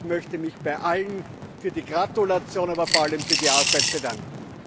Und ich möchte mich bei allen für die Gratulation, aber vor allem für die Arbeit bedanken!